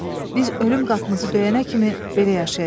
Biz ölüm qapımızı döyənə kimi belə yaşayacağıq.